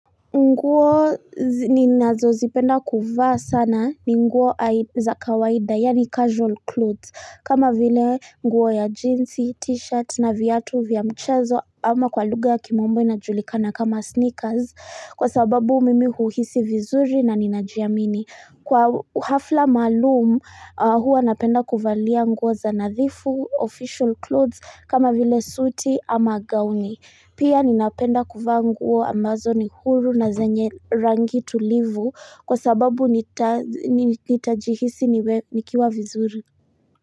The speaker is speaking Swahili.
Nguo ninazo zipenda kuvaa sana ni nguo za kawaida yani casual clothes kama vile nguo ya jeansi, t-shirt na viatu vya mchezo ama kwa lugha ya kimombo inajulikana kama sneakers Kwa sababu mimi huhisi vizuri na ninajiamini Kwa hafla maalum huwa napenda kuvalia nguo za nadhifu official clothes kama vile suiti ama gauni Pia ninapenda kuvaa nguo ambazo ni huru na zenye rangi tulivu kwa sababu nitajihisi nikiwa vizuri.